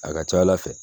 A ka ca ala fɛ